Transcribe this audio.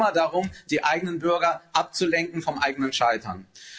Es geht immer darum, die eigenen Bürger abzulenken vom eigenen Scheitern.